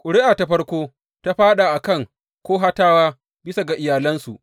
Ƙuri’a ta farko ta fāɗa a kan Kohatawa bisa ga iyalansu.